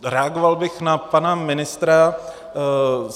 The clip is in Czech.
Reagoval bych na pana ministra.